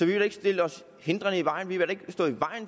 vil da ikke stille os hindrende i vejen